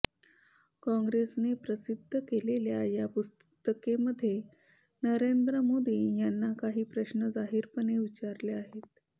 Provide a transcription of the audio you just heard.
काँग्रेसने प्रसिद्ध केलेल्या या पुस्तिकेमध्ये नरेंद्र मोदी यांना काही प्रश्न जाहीरपणे विचारले आहेत